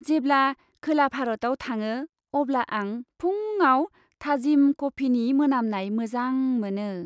जेब्ला खोला भारताव थाङो, अब्ला आं फुंआव थाजिम कफिनि मोनामनाय मोजां मोनो।